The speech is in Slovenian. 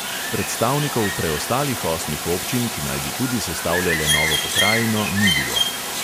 Predstavnikov preostalih osmih občin, ki naj bi tudi sestavljale novo pokrajino, ni bilo.